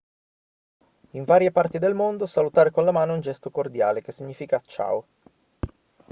in varie parti del mondo salutare con la mano è un gesto cordiale che significa ciao